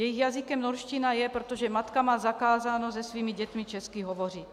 Jejich jazykem norština je, protože matka má zakázáno se svými dětmi česky hovořit.